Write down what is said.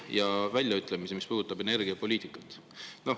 Nende väljaütlemised on puudutanud ka energiapoliitikat.